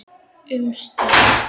Um stund.